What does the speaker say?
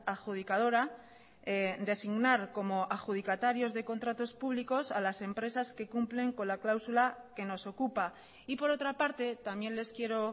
adjudicadora designar como adjudicatarios de contratos públicos a las empresas que cumplen con la cláusula que nos ocupa y por otra parte también les quiero